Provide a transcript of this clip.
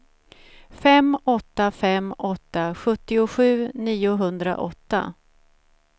fem åtta fem åtta sjuttiosju niohundraåtta